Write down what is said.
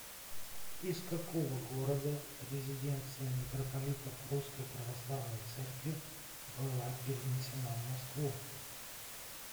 из какого города резиденция митрополитов русской православной церкви была перенесена в москву